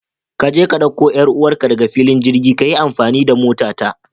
Kaje ka dauko 'yar uwarka daga filin jirgi, kayi amfani da motata.